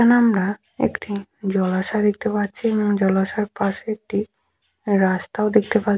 এখানে আমরা একটি জলাশয় দেখতে পাচ্ছি এবং জলাশয়ের পাশে একটি রাস্তাও দেখতে পা--